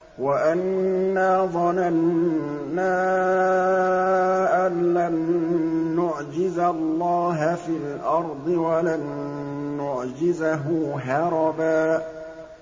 وَأَنَّا ظَنَنَّا أَن لَّن نُّعْجِزَ اللَّهَ فِي الْأَرْضِ وَلَن نُّعْجِزَهُ هَرَبًا